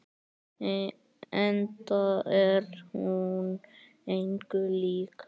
Enda er hún engu lík.